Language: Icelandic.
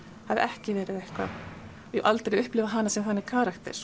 hafi ekki verið eitthvað og ég hef aldrei upplifað hana sem þannig karakter